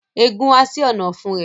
Ẹgún ha sí Ọ̀nà-ọ̀fun rẹ